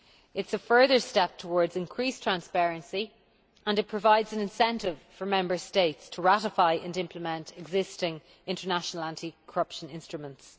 It is a further step towards increased transparency and provides an incentive for Member States to ratify and implement existing international anti corruption instruments.